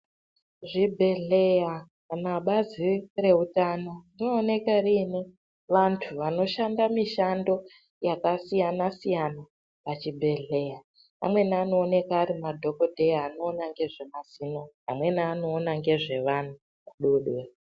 Zvibhedhleya kana bazi reutano, rinooneka rine vantu vanoshanda mishando yakasiyana-siyana pachibhedhleya, amweni anooneka ari madhokodheya anoona ngezvemazino, amweni anoona nezvevana vadodori.